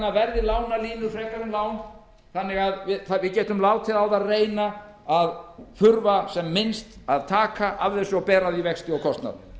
verði lánalínur frekar en lán þannig að við getum látið á það reyna að þurfa sem minnst að taka af þeim og bera af því vexti og kostnað